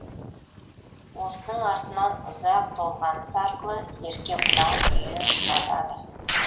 осының артынан ұзақ толғаныс арқылы ерке бұлан күйін шығарады